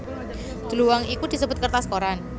Dluwang iku disebut kertas koran